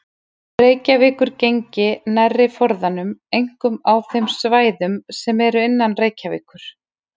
Reykjavíkur gengi nærri forðanum, einkum á þeim svæðum sem eru innan Reykjavíkur.